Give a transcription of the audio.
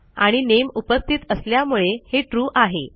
आणि नामे उपस्थित असल्यामुळे हे ट्रू आहे